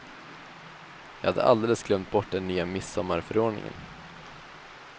Jag hade alldeles glömt bort den nya midsommarförordningen.